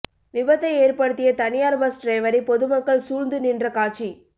விபத்தை ஏற்படுத்திய தனியார் பஸ் டிரைவரை பொதுமக்கள் சூழ்ந்து நின்ற காட்சி